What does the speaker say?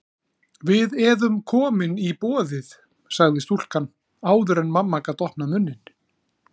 Við eðum komin í boðið, sagði stúlkan áður en mamma gat opnað munninn.